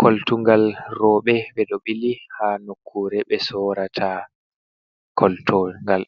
Koltugal robe be do bili ha nokkure be sorata koltungal